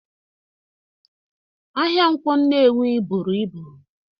Ahia Nkwo Nnewi buru ibu